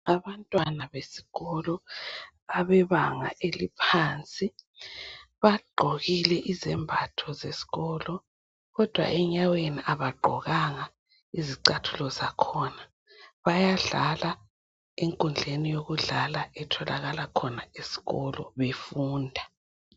Abantwana besikolo, abebanga eliphansi. Bagqokile izembatho zesikolo, kodwa enyaweni kabagqokanga izicathulo, zakhona. Bayadlala enkundleni yokudlala, etholakala khona esikolo, befunda.